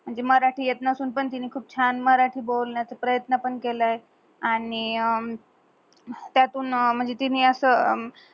म्हंजे मराटी येत नसून पण तेनी खूप छान मराटी बोलण्याच प्रयत्न पण केलंय. आणि त्यातून म्हंजे तेनी अस